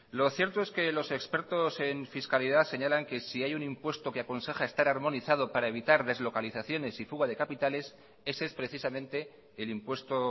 lo cierto es que los expertos en fiscalidad señalan que si hay un impuesto que aconseja estar armonizado para evitar deslocalizaciones y fuga de capitales ese es precisamente el impuesto